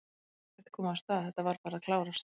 Það er ekkert komið af stað, þetta var bara að klárast?